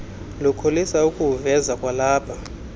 lukholisa ukuwuveza kwalapha